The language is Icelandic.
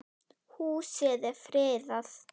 Húsið er friðað.